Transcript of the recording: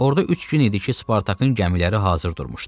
Orda üç gün idi ki, Spartakın gəmiləri hazır durmuşdu.